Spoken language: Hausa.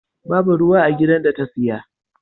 Babu ruwa a gidan da ta saya.